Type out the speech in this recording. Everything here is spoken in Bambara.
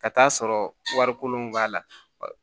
Ka t'a sɔrɔ warikolon b'a la